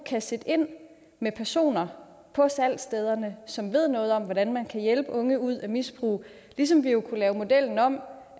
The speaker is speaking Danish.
kan sætte ind med personer på salgsstederne som ved noget om hvordan man kan hjælpe unge ud af misbrug ligesom vi kunne lave modellen om